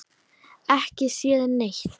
Ekki séð neitt.